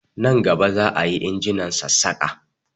Na gaba za a yi injonan Sassaƙa